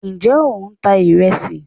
njẹ o n ta iresí